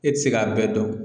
E ti se k'a bɛɛ dɔn